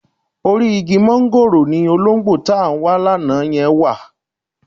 Orí igi máńgòrò ni olóńgbò tá ń wa lánàá yẹn wà